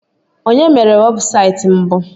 Onye mere webụsaịtị mbụ?